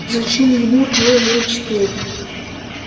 зачем ему твой заячий тулуп